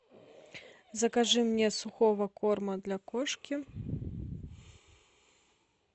закажи мне сухого корма для кошки